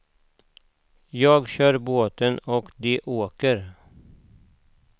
Jag kör båten och de åker.